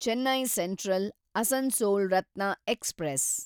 Chennai central Asansol Ratna express